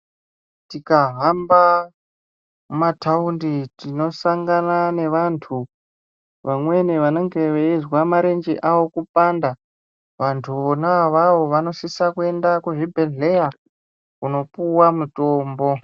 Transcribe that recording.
Tikahamba mumataundi tinosangana nevantu vamweni vanenge veizwa marenje avo kupanda. Vantu vona avavo vanosise kuenda kuzvibhedhlera kunopuwa mitombo.